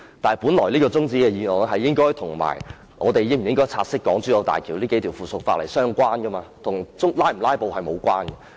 但是，本來這項中止待續議案，應該跟我們是否察悉港珠澳大橋這數項附屬法例相關，跟是否"拉布"無關。